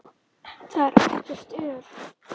Þar er ekkert ör.